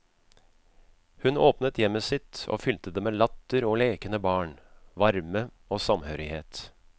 Hun åpnet hjemmet sitt og fylte det med latter og lekende barn, varme og samhørighet.